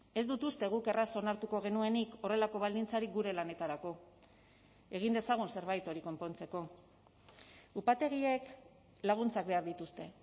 ez dut uste guk erraz onartuko genuenik horrelako baldintzarik gure lanetarako egin dezagun zerbait hori konpontzeko upategiek laguntzak behar dituzte